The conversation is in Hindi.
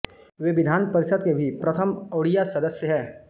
वे विधान परिषद के भी प्रथम ओड़िआ सदस्य हैं